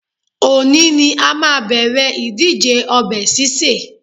Òní ni a máa bẹ̀rẹ̀ ìdíje ọbẹ̀ sísè